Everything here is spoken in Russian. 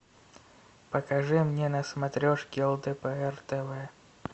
покажи мне на смотрешке лдпр тв